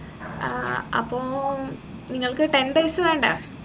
ഏർ അപ്പൊ നിങ്ങൾക്ക് ten days വേണ്ടേ